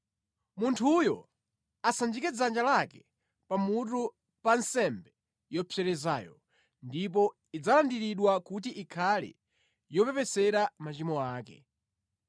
Munthuyo asanjike dzanja lake pa mutu pa nsembe yopserezayo, ndipo idzalandiridwa kuti ikhale yopepesera machimo ake.